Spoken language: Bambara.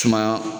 Sumaya